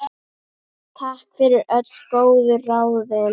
Takk fyrir öll góðu ráðin.